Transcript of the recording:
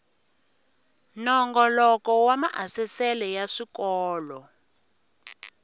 nongoloko wa maasesele ya swikolo